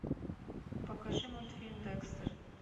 покажи мультфильм декстер